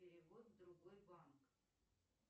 перевод в другой банк